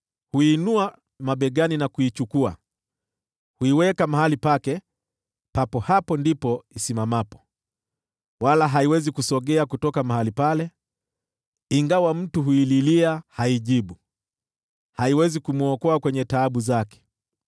Huiinua mabegani na kuichukua; huiweka mahali pake, papo hapo ndipo isimamapo. Wala haiwezi kusogea kutoka mahali pale. Ingawa mtu huililia, haimjibu; haiwezi kumwokoa kwenye taabu zake.